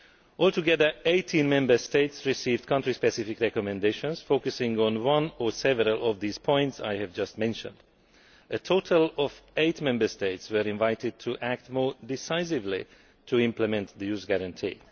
Altogether, 18 Member States received country specific recommendations focusing on one or several of these points I have just mentioned. A total of eight Member States were invited to act more decisively to implement the Youth Guarantee.